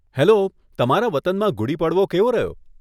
Hello, તમારા વતનમાં ગુડી પડવો કેવો રહ્યો?